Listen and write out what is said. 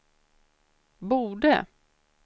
borde